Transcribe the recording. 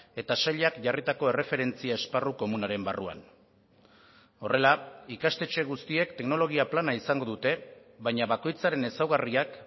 eta sailak jarritako erreferentzia esparru komunaren barruan horrela ikastetxe guztiek teknologia plana izango dute baina bakoitzaren ezaugarriak